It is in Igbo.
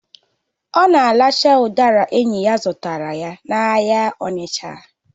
Ọ na-aracha udara enyi ya zụtara n'ahịa Onicha